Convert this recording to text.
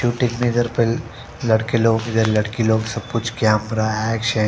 लड़के लोग या लड़की लोग सब कुछ कैमरा है शे--